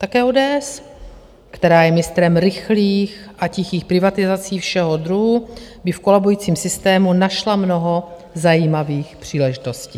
Také ODS, která je mistrem rychlých a tichých privatizací všeho druhu, by v kolabujícím systému našla mnoho zajímavých příležitostí.